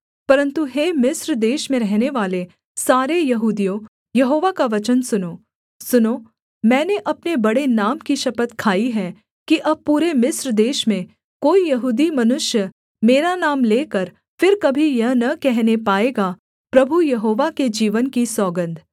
परन्तु हे मिस्र देश में रहनेवाले सारे यहूदियों यहोवा का वचन सुनो सुनो मैंने अपने बड़े नाम की शपथ खाई है कि अब पूरे मिस्र देश में कोई यहूदी मनुष्य मेरा नाम लेकर फिर कभी यह न कहने पाएगा प्रभु यहोवा के जीवन की सौगन्ध